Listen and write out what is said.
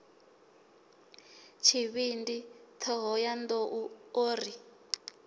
tshivhindi thohoyanḓ ou o ri